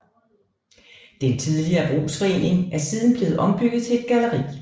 Den tidligere brugsforening er siden blevet ombygget til et galleri